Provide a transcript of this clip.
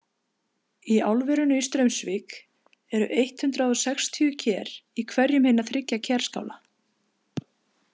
Í álverinu í Straumsvík eru eitt hundruð sextíu ker í hverjum hinna þriggja kerskála.